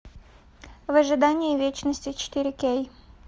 в ожидании вечности четыре кей